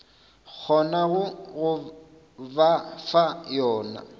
kgonago go ba fa yona